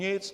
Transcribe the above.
Nic!